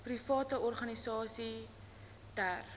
private organisasies ter